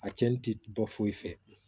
A cɛnni ti bɔ foyi fɛ